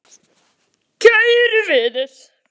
Kæru vinir!